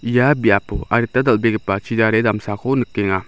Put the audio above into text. ia biapo adita dal·begipa chidare damsako nikenga.